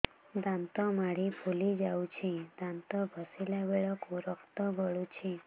ଦାନ୍ତ ମାଢ଼ୀ ଫୁଲି ଯାଉଛି ଦାନ୍ତ ଘଷିଲା ବେଳକୁ ରକ୍ତ ଗଳୁଛି